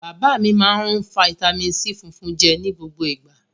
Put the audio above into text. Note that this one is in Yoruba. Bàbá mi máa ń rún fataímìn C funfun jẹ ní gbogbo ìgbà.